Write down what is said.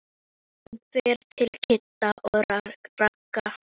Hann fer til Kidda og Ragga.